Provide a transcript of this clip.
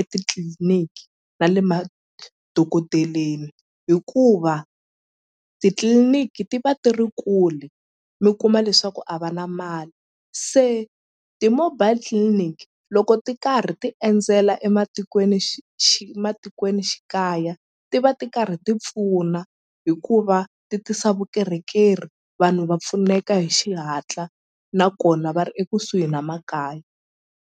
etitliliniki na le madokodeleni hikuva titliliniki ti va ti ri kule mi kuma leswaku a va na mali se ti-mobile clinic loko ti karhi ti endzela ematikweni matikwenixikaya ti va ti karhi ti pfuna hikuva ti tisa vukorhokeri vanhu va pfuneka hi xihatla nakona va ri ekusuhi na makaya.